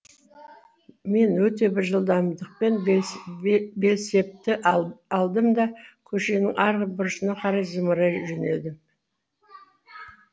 мен өте бір жылдамдықпен белсбетті алдым да көшенің арғы бұрышына қарай зымырай жөнелдім